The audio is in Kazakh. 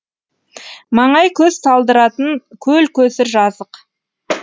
маңай көз талдыратын көл көсір жазық